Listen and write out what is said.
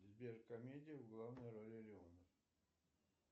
сбер комедия в главной роли леонов